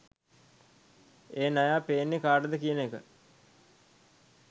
ඒ නයා පේන්නේ කාටද කියන එක